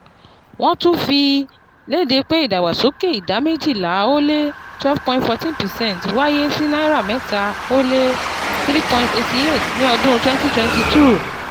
Wọ́n tún fi léde pé ìdàgbàsókè ìdá méjìlá ó lé 12.14 percent wáyé sí náírà mẹ́ta ó lé #3.88 ní ọdún 2022.